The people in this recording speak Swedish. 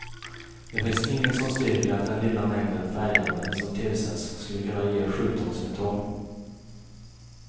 Det finns inget som styrker att den lilla mängden färgämnen som tillsätts skulle kunna ge sjukdomssymtom.